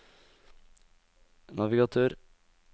navigatør